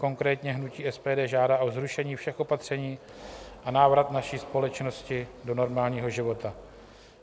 Konkrétně hnutí SPD žádá o zrušení všech opatření a návrat naší společnosti do normálního života.